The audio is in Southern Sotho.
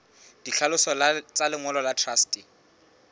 ditlhaloso tsa lengolo la truste